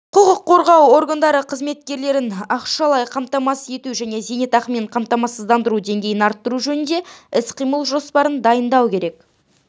құқық қорғау органдары қызметкерлерін ақшалай қамтамасыз ету және зейнетақымен қамсыздандыру деңгейін арттыру жөніндегі іс-қимыл жоспарын дайындау керек